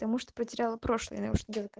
потому что потеряла прошлое да уж не